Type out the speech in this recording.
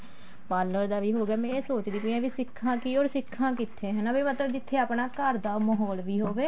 parlor ਦਾ ਵੀ ਹੋਗਿਆ ਮੈਂ ਇਹ ਸੋਚਦੀ ਪਈ ਹਾਂ ਕੀ ਸਿੱਖਾ ਕੀ or ਸਿੱਖਾ ਕਿੱਥੇ ਹਨਾ ਵੀ ਜਿੱਥੇ ਆਪਣਾ ਘਰ ਦਾ ਮਾਹੋਲ ਵੀ ਹੋਵੇ